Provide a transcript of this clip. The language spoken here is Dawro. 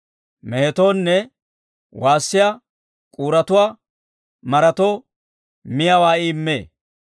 Mehetoonne waassiyaa k'uuruwaa maratoo, miyaawaa I immee.